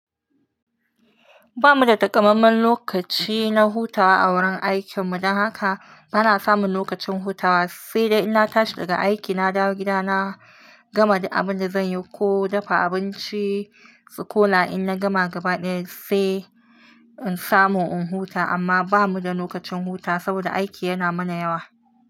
Ba mu da takammamen lokaci na hutawa a wurin aikin mu, don haka ba na samun lokacin hutawa, sai dai in na tashi daga aiki, na dawo gida, na gama dik abin da zan yi ko dafa abinci, su kula in na gama gabaɗaya sai in samu in huta. Amma ba mu da nokacin hutawa saboda aiki yana mana yawa.